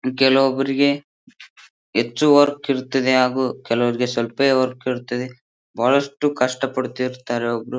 ಕೆಲವೊಬ್ಬರಿಗೆ ಹೆಚ್ಚು ವರ್ಕ್ ಇರುತ್ತದೆ ಹಾಗು ಕೆಲವರಿಗೆ ಸ್ವಲ್ಪವೇ ವರ್ಕ್ ಇರ್ತದೆ ಬಹಳಷ್ಟು ಕಷ್ಟ ಪಡುತ್ತಿರುತ್ತಾರೆ ಒಬ್ರು.